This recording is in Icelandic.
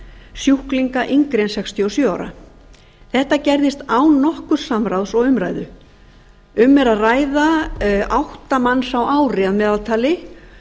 sjúklinga yngri en sextíu og sjö ára þetta gerðist án nokkurs samráðs og umræðu um er að ræða átta manns á ári að meðaltali